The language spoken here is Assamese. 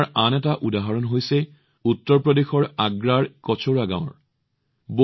এনে সেৱাৰ আন এটা উদাহৰণ হৈছে উত্তৰ প্ৰদেশৰ আগ্ৰাৰ কচুৰা গাঁৱৰ